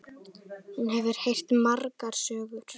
Hún hefur heyrt margar sögur.